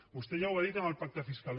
vostè ja ho ha dit amb el pacte fiscal